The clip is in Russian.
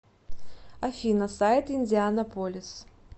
афина сайт индианаполис